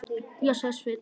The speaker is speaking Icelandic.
Já, sagði Sveinn.